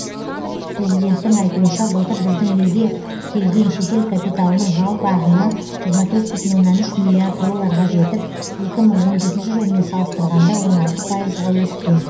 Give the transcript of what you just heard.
президенттің айтуынша былтыр біздің елге келген шетел капиталының жалпы ағыны жиырма төрт бүтін оннан үш миллиард долларға жетіп екі мың он жетінші жылмен салыстырғанда он алты пайызға өскен